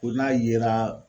Ko n'a yera